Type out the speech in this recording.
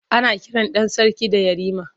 Ana kiran ɗan sarki da Yarima.